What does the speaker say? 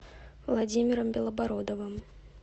владимиром белобородовым